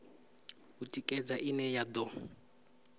u tikedza ine ya do